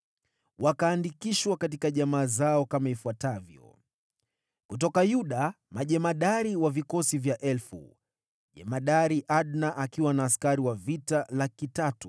Wakaandikishwa katika jamaa zao kama ifuatavyo: Kutoka Yuda, majemadari wa vikosi vya elfu: Jemadari Adna akiwa na askari wa vita 300,000;